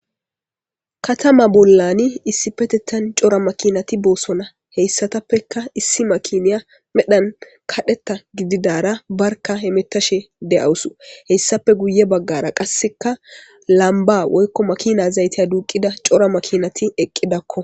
Katama bolan issippetetan cora makinati bosona hesatappeka issi makiniya medhan kareta gididara barika hemetashe dea'wusu heyisapeka guyebagara qasika lamba woyikko makina zayitiya duqida cora makinati eqidakko.